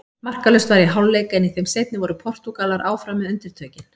Markalaust var í hálfleik en í þeim seinni voru Portúgalar áfram með undirtökin.